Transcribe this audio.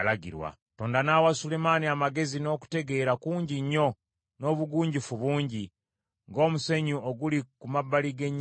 Katonda n’awa Sulemaani amagezi n’okutegeera kungi nnyo n’obugunjufu bungi, ng’omusenyu oguli ku mabbali g’ennyanja.